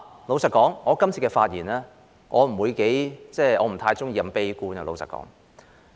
老實說，我今次發言不會太悲觀，因為我不喜歡。